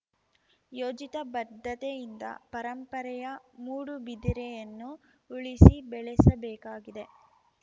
ಯೋಜಿತ ಬದ್ಧತೆಯಿಂದ ಪರಂಪರೆಯ ಮೂಡುಬಿದಿರೆಯನ್ನು ಉಳಿಸಿ ಬೆಳೆಸಬೇಕಾಗಿದೆ